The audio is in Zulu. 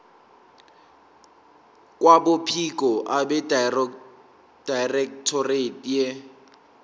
kwabophiko abedirectorate ye